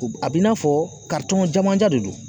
A b'i n'a fɔ janmanjan de don